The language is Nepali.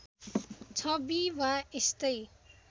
छवि वा यस्तै